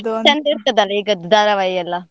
ಇರ್ತದಲ್ಲ ಈಗದ್ದು ಧಾರಾವಾಹಿ ಎಲ್ಲಾ?